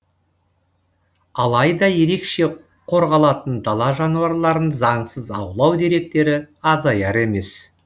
алайда ерекше қорғалатын дала жануарларын заңсыз аулау деректері азаяр емес